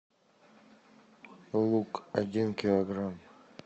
лук один килограмм